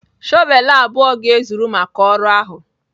shọvel abụọ ga-ezuru maka ọrụ ahụ.